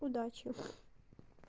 удачи